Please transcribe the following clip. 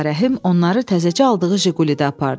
Ağarəhim onları təzəcə aldığı Jiqulidə apardı.